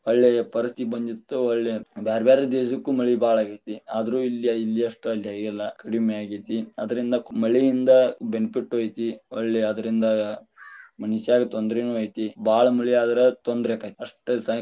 ಹೊಳ್ಳಿ ಪರಿಸ್ತಿತಿಗೆ ಬಂದಿತ್ತ್, ಹೊಳ್ಳಿ ಬ್ಯಾರ ಬ್ಯಾರೆ ದೇಶಕ್ಕು ಮಳಿ ಬಾಳ ಆಗೇತಿ, ಆದ್ರು ಇಲ್ಲಿ ಅಷ್ಟ ಅಲ್ಲ ಆಗಿಲ್ಲಾ ಕಡಿಮಿ ಆಗೇತಿ, ಅದ್ರಿಂದ ಮಳಿಯಿಂದ benefit ಐತಿ ಹೊಳ್ಳಿ ಅದ್ರಿಂದ ಮನಿಷ್ಯಾಗ ತೊಂದರಿನು ಐತಿ ಬಾಳ ಮಳಿಯಾದ್ರ ತೊಂದರಿ ಆಕ್ಕೆತಿ ಅಷ್ಟ.